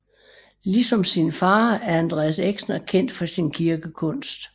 Ligesom sin far er Andreas Exner kendt for sin kirkekunst